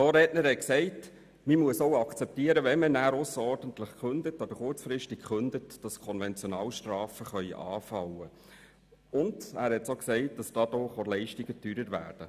Ein Vorredner hat gesagt, man müsse auch akzeptieren, dass Konventionalstrafen anfallen können, wenn man ausserordentlich oder kurzfristig kündigt, und dadurch würden die Leistungen teurer.